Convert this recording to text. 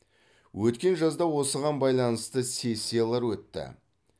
өткен жазда осыған байланысты сессиялар өтті